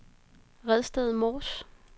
Redsted Mors